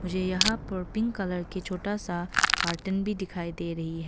मुझे यहां पर पिंक कलर के छोटा सा कार्टन भी दिखाई दे रही है।